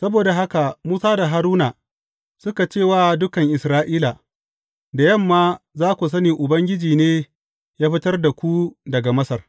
Saboda haka Musa da Haruna suka ce wa dukan Isra’ila, Da yamma za ku sani Ubangiji ne ya fitar da ku daga Masar.